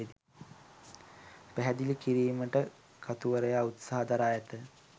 පැහැදිලි කිරීමට කතුවරයා උත්සාහ දරා ඇත